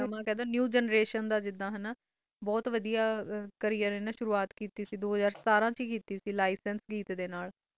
ਨਵ ਜੇਂਦ੍ਰਸ਼ਨ ਦਾ ਜਿੰਦਾ ਬੋਥ ਵਾਡਾ ਇਹਨੇ ਕਰਿਅਰ ਸਟਾਰਟ ਕੀਤੀ ਸੇ ਦੋ ਹਾਜਰ ਸਤਾਰਾ ਵਿਚ ਸੁਰਵਾਤ ਕੀਤੀ ਸੇ ਲਾਇਸੈਂਸ ਗੀਤ ਡੇ ਨਾਲ